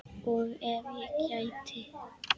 Og ef ég gæti.?